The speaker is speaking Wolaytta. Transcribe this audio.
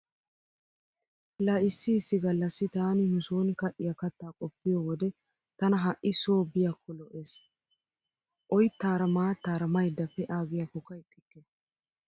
La issi issi gallassi taani nu sooni ka'iya kattaa qoppiyo wode tana ha"i so biykko lo'ees. Oyttaara maattaara maydda pee'aaggiyakko ixxikke.